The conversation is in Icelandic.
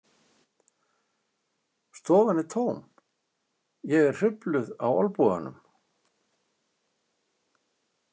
Stofan er tóm, ég er hrufluð á olnboganum.